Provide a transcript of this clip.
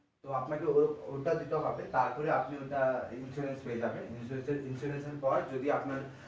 তো আপনাকে ওটা দিতে হবে তারপরে আপনি ওটা insurance পেয়ে যাবেন insurance এর পর যদি আপনার